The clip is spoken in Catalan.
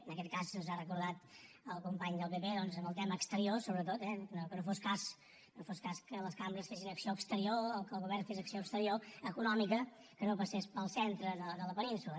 en aquest cas ens ho ha recordat el company del pp doncs amb el tema exterior sobretot eh que no fos cas no fos cas que les cambres fessin acció exterior o que el govern fes acció exterior econòmica que no passés pel centre de la península